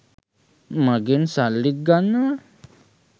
මගෙන් සල්ලිත් ගන්නවා.